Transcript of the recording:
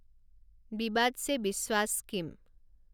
বিবাদ ছে বিশ্বাশ স্কিম